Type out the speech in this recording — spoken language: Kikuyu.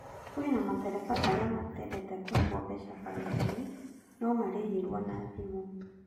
Kwĩna matereba arĩa matendete kũrĩhũo mbeca baribari no marĩhirwo na thimũ.